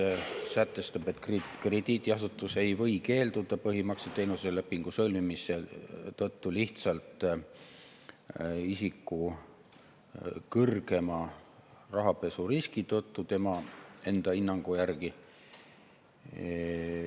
See sätestab kõigepealt, et krediidiasutus ei või keelduda põhimakseteenuse lepingu sõlmimisest isiku kõrgema rahapesuriski tõttu lihtsalt enda hinnangu järgi.